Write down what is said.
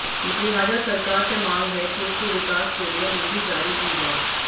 लिहाजा सरकार से मांग है कि इसके विकास के लिए निधि जारी की जाए